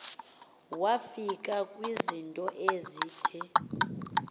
wafika kwizinto ezithi